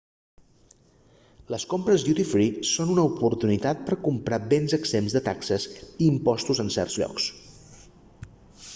les compres duty free són una oportunitat per a comprar béns exempts de taxes i impostos en certs llocs